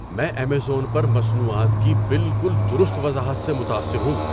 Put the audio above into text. میں ایمیزون پر مصنوعات کی بالکل درست وضاحت سے متاثر ہوں۔